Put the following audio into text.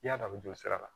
I y'a dɔn a bɛ joli sira la